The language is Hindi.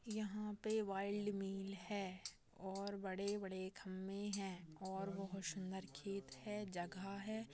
यहाँ पे वाइल्ड मिल है और बड़े बड़े खंबे है और बहुत शुंदर खेत है जगह है।